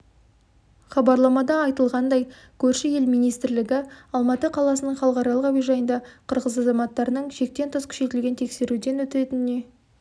хабарламада айтылғандай көрші ел министрлігі алматы қаласының халықаралық әуежайында қырғыз азаматтарының шектен тыс күшейтілген тексеруден өтетініне